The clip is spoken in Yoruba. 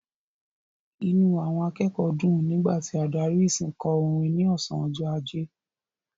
Inú àwọn akẹ́kọ̀ọ́ dùn nígbà tí adarí ìsìn kò orin ní ọ̀sán ọjọ́ ajé.